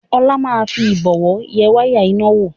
Ọlá máa fi Ìbọ̀wọ́ yẹ wáyà iná náà wò